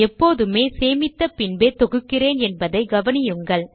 எப்போதுமே சேமித்த பின்பே தொகுக்கிறேன் என்பதை கவனியுங்கள்